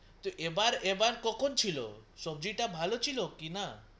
এবার এবার কখন ছিল সব্জি টা ভালো ছিল কি না